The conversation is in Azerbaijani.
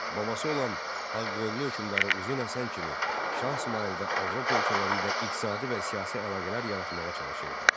Babası olan Ağqoyunlu hökmdarı Uzun Həsən kimi Şah İsmayılda Avropa ölkələri ilə iqtisadi və siyasi əlaqələr yaratmağa çalışırdı.